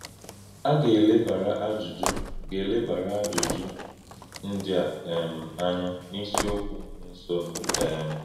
A gà-èlèbàrà àjụ́jụ́ gà-èlèbàrà àjụ́jụ́ ndí a um ànyà n’ísíọ̀kwú na-èsọ̀nù. um